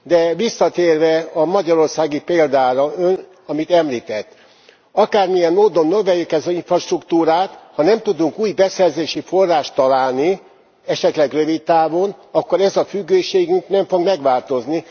De visszatérve a magyarországi példára, Ön, amit említett, akármilyen módon növeljük az infrastruktúrát, ha nem tudunk új beszerzési forrást találni esetleg rövid távon akkor ez a függőségünk nem fog megváltozni.